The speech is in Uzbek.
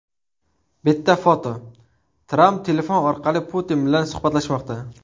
Bitta foto: Tramp telefon orqali Putin bilan suhbatlashmoqda.